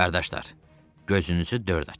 Qardaşlar, gözünüzü dörd açın.